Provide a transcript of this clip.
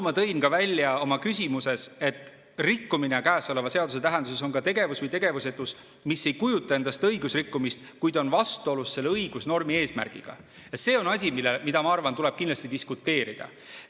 Ma tõin ka välja oma küsimuses, et rikkumine käesoleva seaduse tähenduses on ka tegevus või tegevusetus, mis ei kujuta endast õigusrikkumist, kuid on vastuolus selle õigusnormi eesmärgiga, ja see on asi, mille üle, ma arvan, tuleb kindlasti diskuteerida.